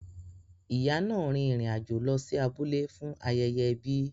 Ìyá náà rin ìrìn àjò lọ sí abúlé fún ayẹyẹ ẹbi.